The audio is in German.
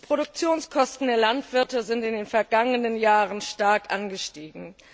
Die Produktionskosten der Landwirte sind in den vergangenen Jahren stark angestiegen.